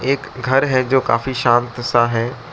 एक घर है जो काफी शांत सा है।